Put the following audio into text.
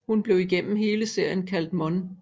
Hun bliver igennem hele serien kaldt for Mon